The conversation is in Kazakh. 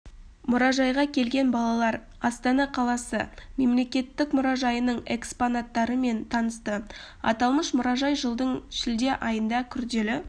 мұражайға келген балалар астана қаласы мемлекеттік мұражайының экспонаттарымен танысты аталмыш мұражай жылдың шілде айында күрделі